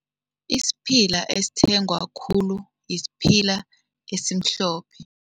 Isiphila esithengwa khulu yisiphila esimhlophe.